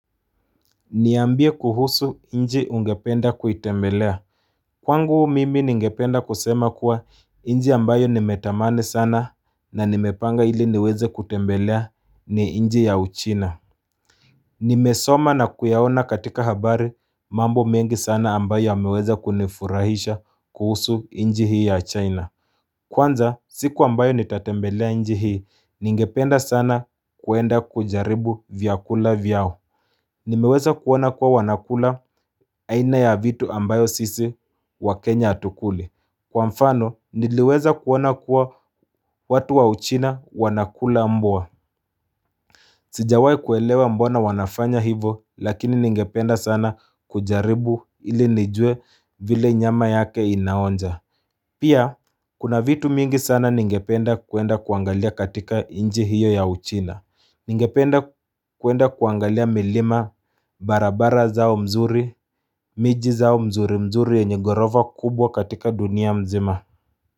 Niambie kuhusu nchi ungependa kuitembelea Kwangu mimi ningependa kusema kuwa nchi ambayo nimetamani sana na nimepanga ili niweze kutembelea ni chi ya uchina Nimesoma na kuyaona katika habari mambo mengi sana ambayo yameweza kunifurahisha kuhusu nchi hii ya china Kwanza siku ambayo nitatembelea nchi hii ningependa sana kuenda kujaribu vyakula vyao Nimeweza kuona kuwa wanakula aina ya vitu ambayo sisi wakenlnya hatukuli Kwa mfano niliweza kuona kuwa watu wa uchina wanakula mbwa Sijawahi kuelewa mbona wanafanya hivo lakini ningependa sana kujaribu ili nijue vile nyama yake inaonja Pia kuna vitu mingi sana ningependa kuenda kuangalia katika nchi hiyo ya uchina Ningependa kuenda kuangalia milima, barabara zao mzuri, miji zao mzuri mzuri yenye ghorofa kubwa katika dunia mzima.